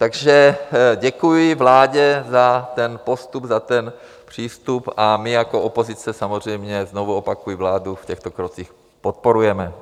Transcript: Takže děkuji vládě za ten postup, za ten přístup a my jako opozice samozřejmě, znovu opakuji, vládu v těchto krocích podporujeme.